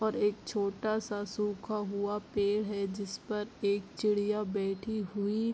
और एक छोटा-सा सुखा हुआ पेड़ है जिस पर एक चिड़िया बैठी हुइ --